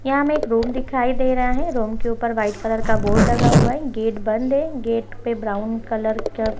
यहाँ हमें एक रूम दिखाई दे रहा है रूम के ऊपर व्हाइट कलर का बोर्ड लगा हुआ है गेट बंद है गेट पे ब्राउन कलर का ---